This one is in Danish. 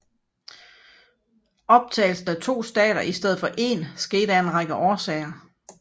Optagelsen af to stater i stedet for én skete af en række årsager